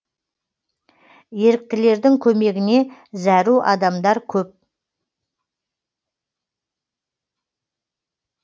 еріктілердің көмегіне зәру адамдар көп